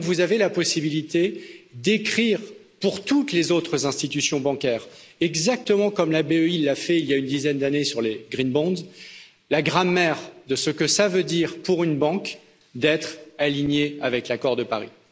Donc vous avez la possibilité d'écrire pour toutes les autres institutions bancaires exactement comme la BEI l'a fait il y a une dizaine d'années sur les Green bonds la grammaire de ce que cela signifie pour une banque d'être alignée avec l'accord de Paris.